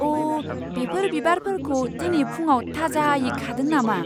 अ! बेफोर बिबारफोरखौ दिनै फुंआव थाजायै खादों नामा?